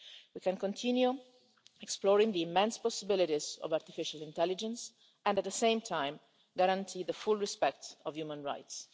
We can continue exploring the immense possibilities of artificial intelligence and, at the same time, guarantee full respect for human rights.